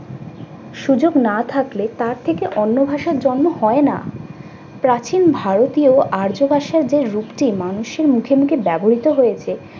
সুযোগ না থাকলে তার থেকে অন্য ভাষার জন্ম হয় না। প্রাচীন ভারতীয় আর্য ভাষার যে রূপটি মানুষের মুখে মুখে ব্যবহৃত হয়েছে